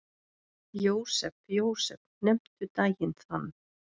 Jósep, Jósep, nefndu daginn þann.